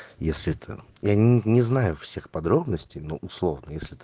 если это я не не знаю всех подробностей но условно если это